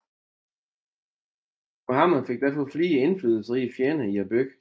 Muhammad fik derfor flere indflydelsesrige fjender i byen